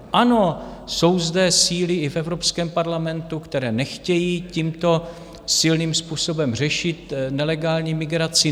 Ano, jsou zde síly i v Evropském parlamentu, které nechtějí tímto silným způsobem řešit nelegální migraci.